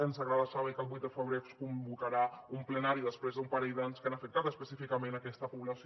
ens agrada saber que el vuit de febrer es convocarà un plenari després d’un parell d’anys que han afectat específicament aquesta població